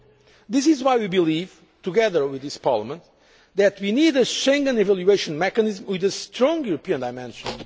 we want solutions that can work. That is why we believe, together with this Parliament, that we need a Schengen evaluation mechanism